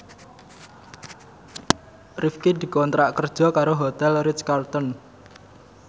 Rifqi dikontrak kerja karo Hotel Ritz Carlton